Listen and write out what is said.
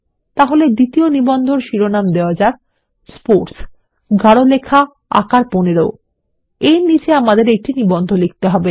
তাই দ্বিতীয় নিবন্ধটির শিরোনাম দেওয়া যাক স্পোর্টস গাঢ় লেখার আকার ১৫ তার নিচে আমাদের একটি নিবন্ধ লিখতে হবে